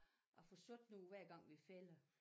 At få sået nogle hver gang vi fælder